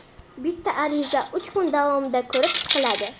Bitta ariza uch kun davomida ko‘rib chiqiladi.